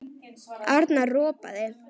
Arnar ropaði.